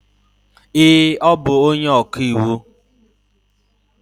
ee, ọ bụ onye ọka iwu.